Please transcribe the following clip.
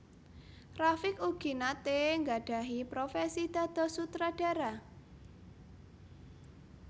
Rafiq ugi naté nggadhahi profesi dados sutradara